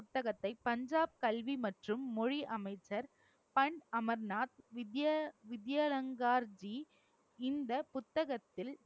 புத்தகத்தை பஞ்சாப் கல்வி மற்றும் மொழி அமைச்சர் பன் அமர்நாத் வித்ய~ வித்யாலங்கார்ஜி இந்த புத்தகத்தில்